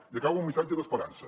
i acabo amb un missatge d’esperança